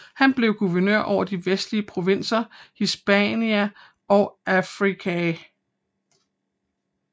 Han blev guvernør over de vestlige provinser Hispania og Africa